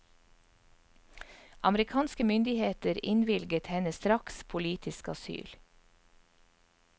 Amerikanske myndigheter innvilget henne straks politisk asyl.